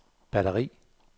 batteri